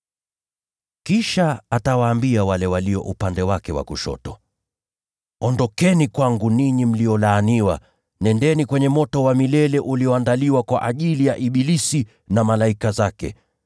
“Kisha atawaambia wale walio upande wake wa kushoto, ‘Ondokeni kwangu, ninyi mliolaaniwa, nendeni kwenye moto wa milele ulioandaliwa kwa ajili ya ibilisi na malaika zake.